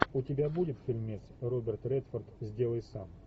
у тебя будет фильмец роберт редфорд сделай сам